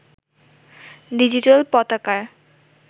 digital পতাকার